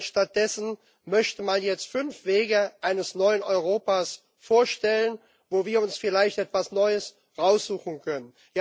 Und stattdessen möchte man jetzt fünf Wege eines neuen Europas vorstellen, wo wir uns vielleicht etwas Neues raussuchen können.